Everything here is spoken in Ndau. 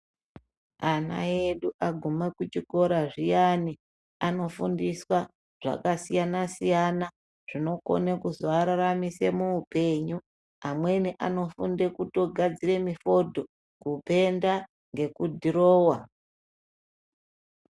Ana edu aguma kuchikora zviyani anofundiswa zvakasiyana siyana zvinokone kuzovararamise muupenyu. Amweni anofunde kutogadzire mifodho, kupenda neku dhirowa.